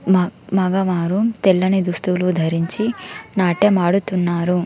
మ మగవారు తెల్లని దుస్తువులు ధరించి నాట్టెం ఆడుతున్నారు.